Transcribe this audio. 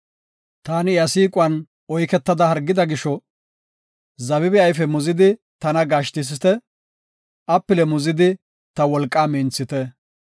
Taani iya siiquwan oyketada hargida gisho, zabibe ayfe muzidi tana gashtisite; apile muzidi ta wolqaa minthite.